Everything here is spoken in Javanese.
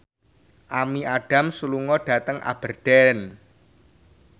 Amy Adams lunga dhateng Aberdeen